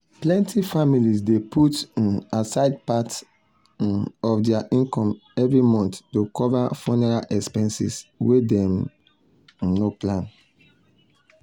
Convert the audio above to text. plenty families dey put um aside part um of dir income every month to cover funeral expenses wen dem um no plan.